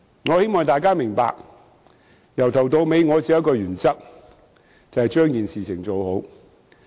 我希望大家明白，由始至終我只秉持一個原則，就是把事情做好。